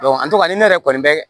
an tora ni ne yɛrɛ kɔni bɛ